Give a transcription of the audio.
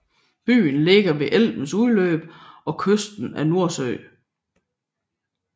Byen ligger ved Elbens udløb og kysten af Nordsøen